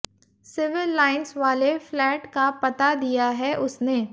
civil Lines वाले flat का पता दिया है उसने